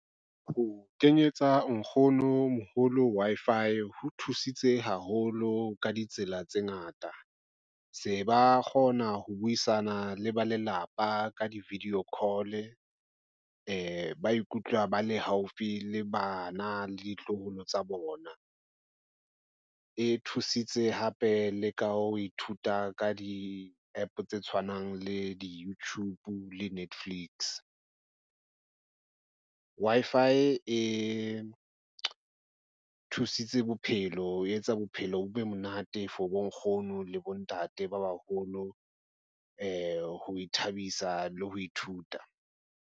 Ho kenyetsa nkgono moholo Wi-Fi ho thusitse haholo ka ditsela tse ngata. Se ba kgona ho buisana le ba lelapa ka di-video call, ba ikutlwa ba le haufi le bana le ditloholo tsa bona. E thusitse hape le ka ho ithuta ka di app tse tshwanang le di-YouTube le Netflix, Wi-Fi e thusitse bophelo ho etsa bophelo bo be monate for bonkgono le bontate ba baholo ho ithabisa le ho ithuta.